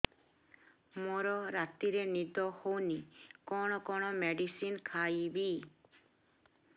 ମୋର ରାତିରେ ନିଦ ହଉନି କଣ କଣ ମେଡିସିନ ଖାଇବି